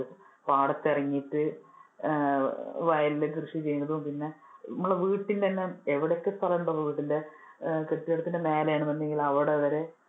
പാടത്തിറങ്ങിട്ട് ആഹ് വയലിൽ കൃഷി ചെയ്യുന്നതും പിന്നെ നമ്മടെ വീട്ടിൽ തന്നെ എവിടെയൊക്കെ സ്ഥലം ഉണ്ടോ വീടിന്‍ടെ കെട്ടിടത്തിന്‍ടെ മേലെ ആണെന്നുണ്ടെങ്കിൽ അവിടെ വരെ.